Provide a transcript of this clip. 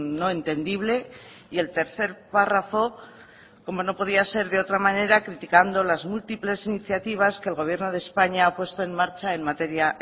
no entendible y el tercer párrafo como no podía ser de otra manera criticando las múltiples iniciativas que el gobierno de españa ha puesto en marcha en materia